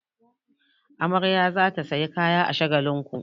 Amarya za ta sayi kaya a Shagalinku.